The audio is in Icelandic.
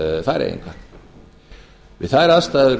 færeyinga við þær aðstæður